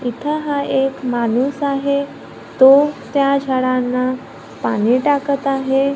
इथं हा एक माणूस आहे तो त्या झाडांना पाणी टाकत आहे.